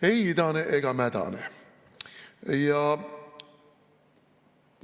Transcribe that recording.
Ei idane ega mädane!